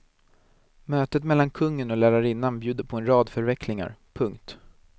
Mötet mellan kungen och lärarinnan bjuder på en rad förvecklingar. punkt